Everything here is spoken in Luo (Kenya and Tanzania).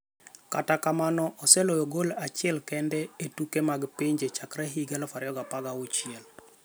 Kata kamano oseloyo gol achil kende e tuke mag pinje chakre higa 2016.